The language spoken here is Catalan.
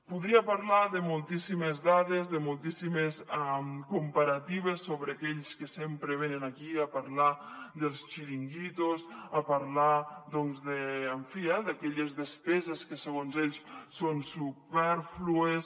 podria parlar de moltíssimes dades de moltíssimes comparatives sobre aquells que sempre venen aquí a parlar dels xiringuitos a parlar doncs en fi d’aquelles despeses que segons ells són supèrflues